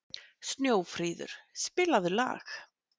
Snjófríður, spilaðu lag.